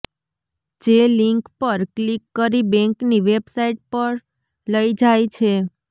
જે લિંક પર ક્લિક કરી બેંકની વેબસાઈટ પર લઈ જાય છે